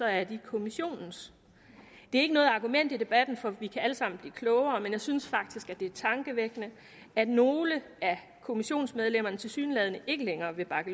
er de kommissionens det er ikke noget argument i debatten for vi kan alle sammen blive klogere men jeg synes faktisk det er tankevækkende at nogle af kommissionsmedlemmerne tilsyneladende ikke længere vil bakke